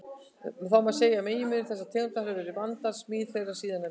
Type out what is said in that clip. Má segja að meginmunur þessara tegunda hafi verið vandaðri smíð þeirra síðarnefndu.